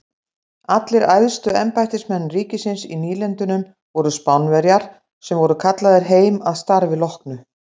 Allir æðstu embættismenn ríkisins í nýlendunum voru Spánverjar sem voru kallaðir heim að starfi loknu.